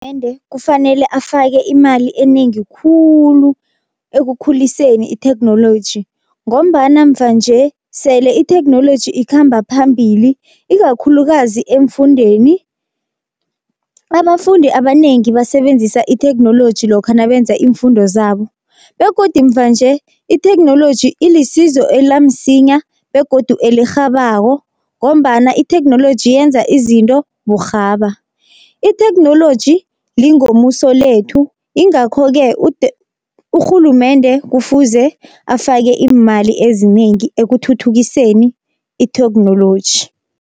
Kufanele afake imali enengi khulu ekukhuliseni itheknoloji, ngombana mva nje sele itheknoloji ikhamba phambili ikakhulukazi eemfundeni. Abafundi abanengi basebenzisa itheknoloji lokha nabenza iimfundo zabo, begodu mva nje itheknoloji ilisizo elamsinya begodu elirhabako, ngombana itheknoloji yenza izinto burhaba. Itheknoloji lingomuso lethu ingakho-ke urhulumende kufuze afake iimali ezinengi ekuthuthukiseni itheknoloji.